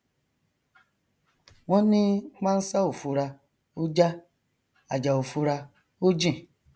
wọn ní pánsá ò fura ó já àjà ò fura ó jìn